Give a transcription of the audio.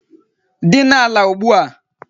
Dina ala ugbua!